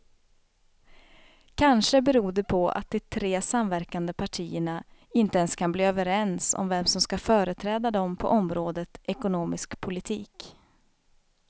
Kanske beror det på att de tre samverkande partierna inte ens kan bli överens om vem som ska företräda dem på området ekonomisk politik.